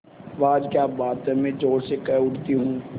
वाह क्या बात है मैं ज़ोर से कह उठती हूँ